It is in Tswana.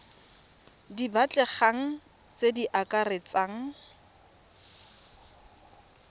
di batlegang tse di akaretsang